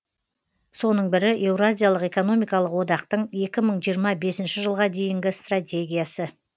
соның бірі еуразиялық экономикалық одақтың екі мың жиырма бесінші жылға дейінгі стратегиясы